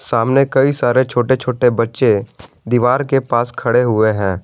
सामने कई सारे छोटे छोटे बच्चे दीवार के पास खड़े हुए हैं।